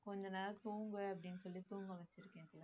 கொஞ்ச நேரம் தூங்கு அப்படின்னு சொல்லி தூங்க வச்சிருக்கேன்